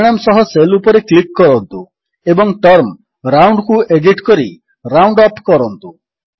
ପରିଣାମ ସହ ସେଲ୍ ଉପରେ କ୍ଲିକ୍ କରନ୍ତୁ ଏବଂ ଟର୍ମ ରାଉଣ୍ଡ କୁ ଏଡିଟ୍ କରି ରାଉଣ୍ଡଅପ୍ କରନ୍ତୁ